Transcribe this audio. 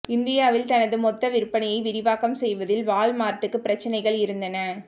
இந்தியாவில் தனது மொத்த விற்பனையை விரிவாக்கம் செய்வதில் வால்மார்ட்டுக்கு பிரச்சினைகள் இருந்தன